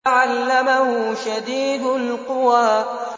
عَلَّمَهُ شَدِيدُ الْقُوَىٰ